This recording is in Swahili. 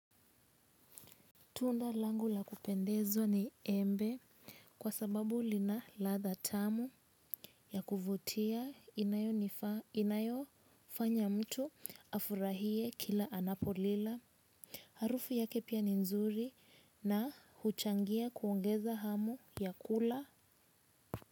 Tunda langu la kupendezwa ni embe kwa sababu lina ladha tamu ya kuvutia, inayofanya mtu afurahie kila anapolila. Harufu yake pia ni nzuri na huchangia kuongeza hamu ya kula.